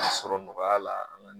sɔgɔya la.